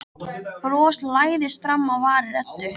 Bros læðist fram á varir Eddu.